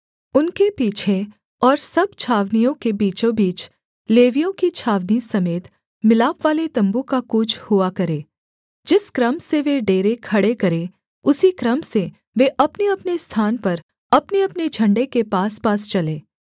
उनके पीछे और सब छावनियों के बीचों बीच लेवियों की छावनी समेत मिलापवाले तम्बू का कूच हुआ करे जिस क्रम से वे डेरे खड़े करें उसी क्रम से वे अपनेअपने स्थान पर अपनेअपने झण्डे के पासपास चलें